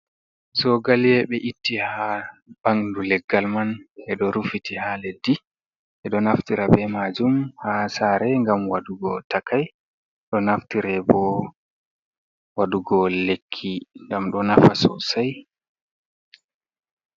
Sogaliye ɓe itti haa ɓanndu leggal man, ɓe ɗo rufiti haa leddi ,ɓe ɗo naftira be maajum haa saare ,ngam waɗugo takay, ɗo naftire bo waɗugo lekki ngam ɗo nafa sosay.